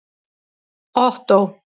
Ottó